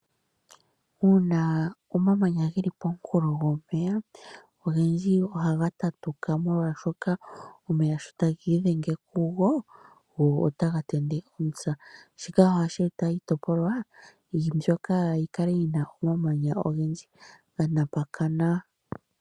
Uuna omamanya geli pomunkulo gwomeya, ogendji ohaga tatuka molwaashoka omeya sho tagi idhenge kugo, go ota ga tende omisa. Shika ohashi eta iitopolwa mbyoka yikale yina omamanya ogendji ganapakana.